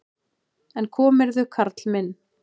En komirðu, karl minn!